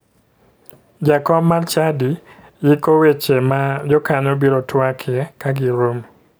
Jakom mar chadi yiko weche ma jokanyo biro twakie kagiromo